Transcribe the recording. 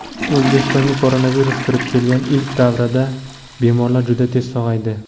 O‘zbekistonga koronavirus kirib kelgan ilk davrlarda bemorlar juda tez sog‘aydi.